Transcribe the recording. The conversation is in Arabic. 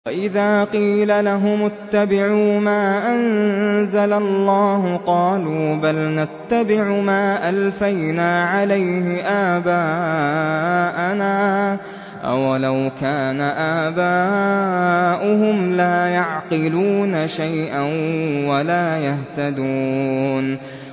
وَإِذَا قِيلَ لَهُمُ اتَّبِعُوا مَا أَنزَلَ اللَّهُ قَالُوا بَلْ نَتَّبِعُ مَا أَلْفَيْنَا عَلَيْهِ آبَاءَنَا ۗ أَوَلَوْ كَانَ آبَاؤُهُمْ لَا يَعْقِلُونَ شَيْئًا وَلَا يَهْتَدُونَ